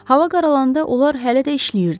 Hava qaralanda onlar hələ də işləyirdilər.